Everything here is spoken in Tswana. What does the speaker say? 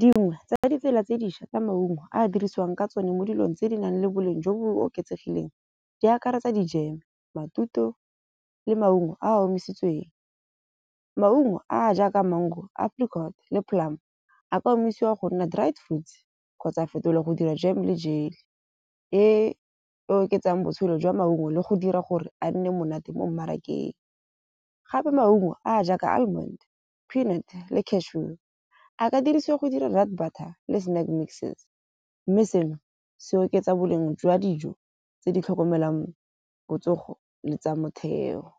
Dingwe tsa ditsela tse dišwa tsa maungo a dirisiwang ka tsone mo dilong tse di nang le boleng jo bo oketsegileng, di akaretsa dijeme, matute ao le maungo a a omisitsweng. Maungo a jaaka mango, apricot le plum a ka omisiwa go nna dried fruits kgotsa a fetolwa go dira jam le jelly. E e oketsang botshelo jwa maungo le go dira gore a nne monate mo mmarakeng. Gape maungo a a jaaka almond, peanut le cashew a ka dirisiwa go dira le snack mixes. Mme seno se oketsa boleng jwa dijo tse di tlhokomelang botsogo le tsa motheo.